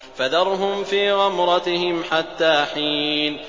فَذَرْهُمْ فِي غَمْرَتِهِمْ حَتَّىٰ حِينٍ